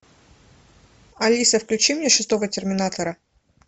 алиса включи мне шестого терминатора